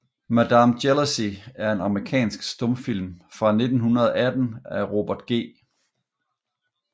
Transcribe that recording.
Madame Jealousy er en amerikansk stumfilm fra 1918 af Robert G